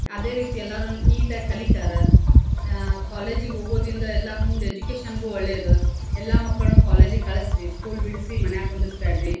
ಅದೇ ರೀತಿ ಎಲ್ಲಾರು ನೀಟ್ ಆಗಿ ಕಲಿತಾರಾ ಆಹ್ ಕಾಲೇಜ್ ಗೆ ಹೋಗೋದಿಂದ ಎಲ್ಲಾ ಮುಂದ್ ಎಜುಕೇಶನ್ ಗು ಒಳ್ಳೇದ್. ಎಲ್ಲಾ ಮಕ್ಕಳ್ನು ಕಾಲೇಜ್ ಗೆ ಕಳಸ್ರೀ ಸ್ಕೂಲ್ ಬಿಡ್ಸಿ ಮನ್ಯಾಗ್ ಕುಂದ್ರಸ್ ಬ್ಯಾಡ್ರಿ.